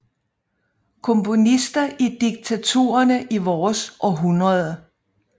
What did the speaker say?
Komponister i diktaturerne i vores århundrede